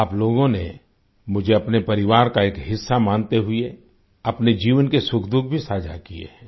आप लोगों ने मुझे अपने परिवार का एक हिस्सा मानते हुए अपने जीवन के सुखदुख भी साझा किये हैं